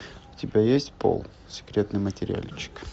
у тебя есть пол секретный материальчик